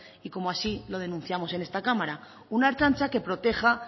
y como así lo denunciamos en esta cámara una ertzaintza que proteja